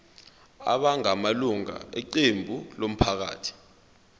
abangamalunga eqembu labantu